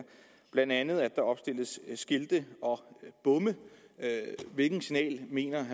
blandt andet at der opstilles skilte og bomme hvilket signal mener